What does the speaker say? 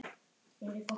Árni Rúnar.